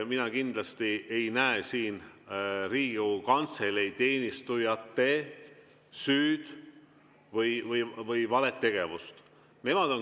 Mina kindlasti ei näe siin Riigikogu Kantselei teenistujate süüd või valet tegevust.